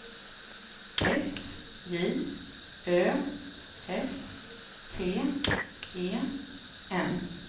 S J Ö S T E N